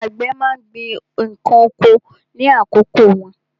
Àwọn àgbẹ̀ má ń gbin ǹkan oko ní àkókò wọn.